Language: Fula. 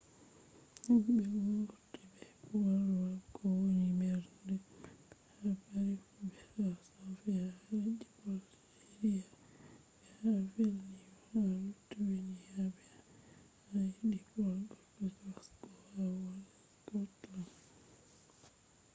himɓe wurti ɓe wolwa ko woni mbernde maɓɓe ha paris fu be ha sofiya ha leddi bolgeriya be ha vilniyos ha lituweniya be ha edinborg be glasgo ha wuro skotland